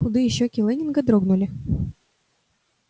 худые щёки лэннинга дрогнули